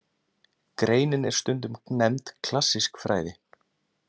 Greinin er stundum nefnd klassísk fræði.